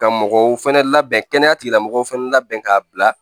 Ka mɔgɔw fɛnɛ labɛn kɛnɛya tigilamɔgɔw fɛnɛ labɛn k'a bila